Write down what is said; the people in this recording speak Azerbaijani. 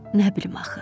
Nə bilim axı.